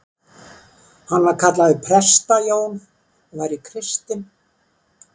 Hann væri kallaður Presta-Jón og væri kristinn.